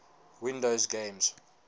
windows games